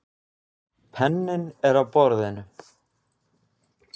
Penninn er á borðinu.